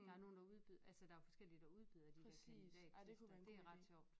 Der nogen der udbyder altså der forskellige der udbyder de der kandidattester det ret sjovt